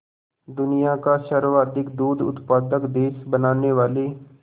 दुनिया का सर्वाधिक दूध उत्पादक देश बनाने वाले